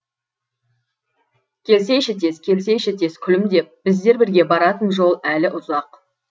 келсейші тез келсейші тез күлімдеп біздер бірге баратын жол әлі ұзақ